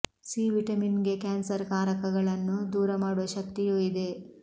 C vitamin ಗೆ cancer ಕಾರಕಗಳನ್ನು ದೂರ ಮಾಡುವ ಶಕ್ತಿಯೂ ಇದೆ